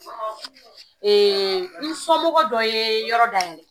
Ee n somɔgɔ dɔ ye yɔrɔ dayɛlɛ